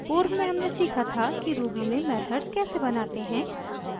पूर्व में हमने सीखा था कि ruby में मेथड्स कैसे बनाते हैं